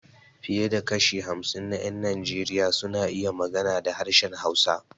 Fiye da kashi hamsin na ƴan Najeriya suna iya magana da harshen Hausa.